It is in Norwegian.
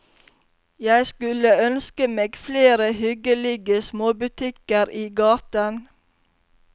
Jeg skulle ønske meg flere hyggelige småbutikker i gaten.